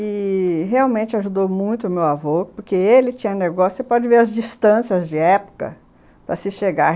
i-i... realmente ajudou muito o meu avô, porque ele tinha negócio... Você pode ver as distâncias de época para se chegar.